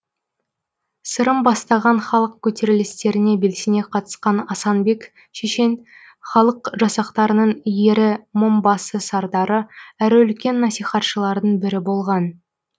сырым бастаған халық көтерілістеріне белсене қатысқан асанбек шешен халық жасақтарының ері мыңбасы сардары әрі үлкен насихатшылардың бірі болған